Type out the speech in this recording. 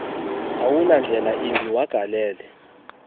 awunandlela yimbi wagalele